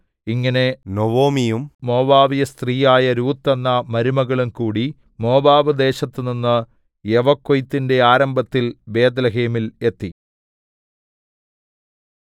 ഇങ്ങനെ നൊവൊമിയും മോവാബ്യസ്ത്രീയായ രൂത്ത് എന്ന മരുമകളും കൂടി മോവാബ് ദേശത്തു നിന്നു യവക്കൊയ്ത്തിന്റെ ആരംഭത്തിൽ ബേത്ത്ലേഹേമിൽ എത്തി